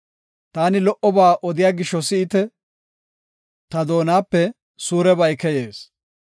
Taani lo77oba odiya gisho si7ite; taani doonape suurebay keyees.